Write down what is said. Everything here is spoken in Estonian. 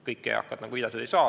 Kõik eakad, nagu viidatud, seda ei saa.